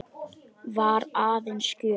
Var aðeins gjöf.